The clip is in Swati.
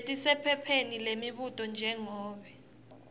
letisephepheni lemibuto njengobe